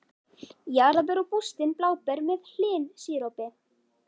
Jarðarber og bústin bláber með hlynsírópi